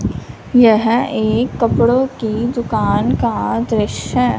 यह एक कपड़ों की दुकान का दृश्य है।